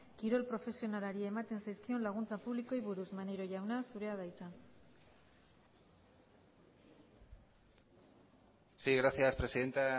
kirol profesionalari ematen zaizkion laguntza publikoei buruz maneiro jauna zurea da hitza sí gracias presidenta